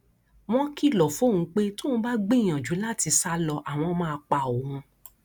wọn kìlọ fóun pé tóun bá gbìyànjú láti sá lọ àwọn máa pa òun